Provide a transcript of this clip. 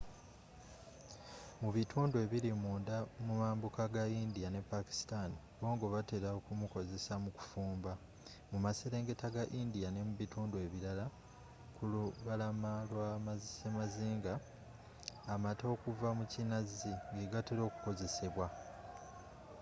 mu bitundu ebiri munda mu mambuka ga india ne pakistan bbongo batera okumukozesa mu kufumba mu maserengeta ga india n'emubitundu ebirala ku lubalama lwa semazinga amata okuva mu kinazi gegatera okukozesebwa